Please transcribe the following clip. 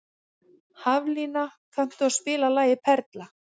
Haflína, kanntu að spila lagið „Perla“?